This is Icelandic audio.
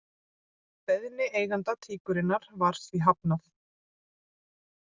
Beiðni eiganda tíkurinnar var því hafnað